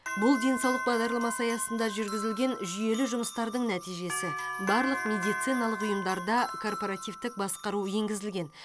бұл денсаулық бағдарламасы аясында жүргізілген жүйелі жұмыстардың нәтижесі барлық медициналық ұйымдарда корпоративтік басқару енгізілген